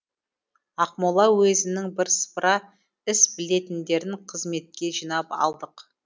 ақмола уезінің бірсыпыра іс білетіндерін қызметке жинап алдық